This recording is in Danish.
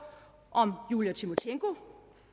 om julia timosjenko